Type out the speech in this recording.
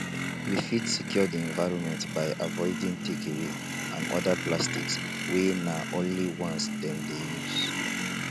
we fit secure di environment by avoiding takeaway and oda plastic wey na only once dem dey use